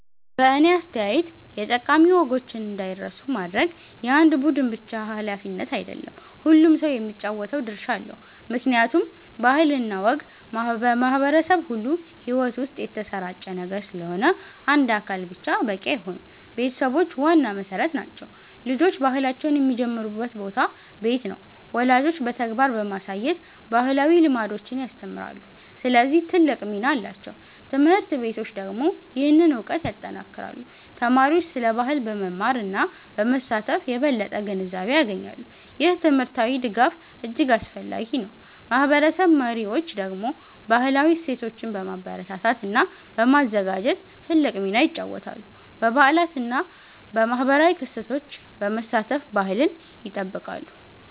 በእኔ አስተያየት የጠቃሚ ወጎችን እንዳይረሱ ማድረግ የአንድ ቡድን ብቻ ሃላፊነት አይደለም፤ ሁሉም ሰው የሚጫወተው ድርሻ አለው። ምክንያቱም ባህል እና ወግ በማህበረሰብ ሁሉ ሕይወት ውስጥ የተሰራጨ ነገር ስለሆነ አንድ አካል ብቻ በቂ አይሆንም። ቤተሰቦች ዋና መሠረት ናቸው። ልጆች ባህላቸውን የሚጀምሩበት ቦታ ቤት ነው። ወላጆች በተግባር በማሳየት ባህላዊ ልምዶችን ያስተምራሉ፣ ስለዚህ ትልቅ ሚና አላቸው። ት/ቤቶች ደግሞ ይህንን እውቀት ያጠናክራሉ። ተማሪዎች ስለ ባህል በመማር እና በመሳተፍ የበለጠ ግንዛቤ ያገኛሉ። ይህ ትምህርታዊ ድጋፍ እጅግ አስፈላጊ ነው። ማህበረሰብ መሪዎች ደግሞ ባህላዊ እሴቶችን በማበረታታት እና በማዘጋጀት ትልቅ ሚና ይጫወታሉ። በበዓላት እና በማህበራዊ ክስተቶች በመሳተፍ ባህልን ይጠብቃሉ።